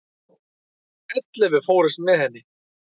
Ellefu fórust með henni.